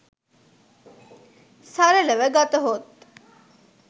සරලව ගතහොත්